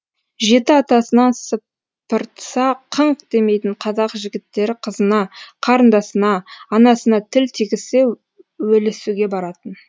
жеті атасынан сыпыртса қыңқ демейтін қазақ жігіттері қызына қарындасына анасына тіл тигізсе өлісуге баратын